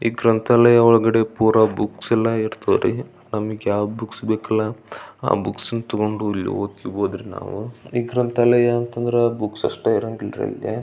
ಈ ಗ್ರಂಥಾಲಯ ಒಳಗಡೆ ಪುರಾ ಬುಕ್ಸ್ ಎಲ್ಲಾ ಇರ್ತವರಿ ನಮಿಗೆ ಯಾವ್ ಬುಕ್ಸ್ ಬೇಕಲ್ಲಾ ಆ ಬುಕ್ಸ್ ತೊಕೊಂಡು ಇಲ್ಲಿ ಹೋದ್ರೆ ನಾವು ಈ ಗ್ರಂಥಾಲಯ ಅಂತ ಅಂದ್ರೆ ಬುಕ್ಸ್ ಅಷ್ಟೇ ಇರಗಿಂಲ್ಲರಿ ಇಲ್ಲಿ.